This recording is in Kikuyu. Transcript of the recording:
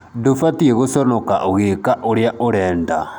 Ndũbatiĩ guconoka ũgĩĩka ũrĩa ũrenda